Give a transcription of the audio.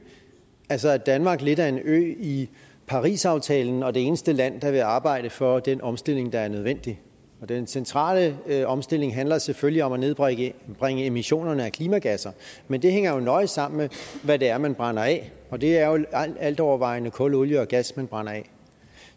altså at danmark er lidt af en ø i parisaftalen og det eneste land der vil arbejde for den omstilling der er nødvendig den centrale omstilling handler selvfølgelig om at nedbringe emissionerne af klimagasser men det hænger jo nøje sammen med hvad det er man brænder af og det er jo altovervejende kul olie og gas man brænder af